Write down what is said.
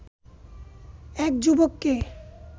এক যুবককে